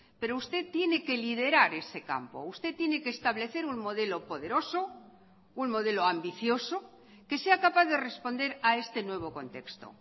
pero usted tiene que liderar ese campo usted tiene que establecer un modelo poderoso un modelo ambicioso que sea capaz de responder a este nuevo contexto